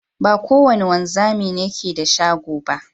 Ba ko wada wanzami ne ke da shago.